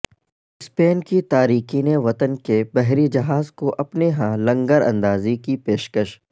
Spain کی تارکین وطن کے بحری جہاز کو اپنے ہاں لنگر اندازی کی پیشکش